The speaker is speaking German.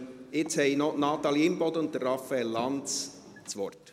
Jetzt haben noch Natalie Imboden und Raphael Lanz das Wort.